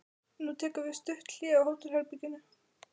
Nú tekur við stutt hlé á hótelherbergi.